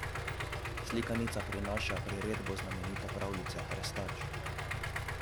Slikanica prinaša priredbo znamenite pravljice Hrestač.